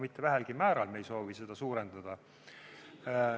Mitte väheselgi määral ei soovi me seda suurendada.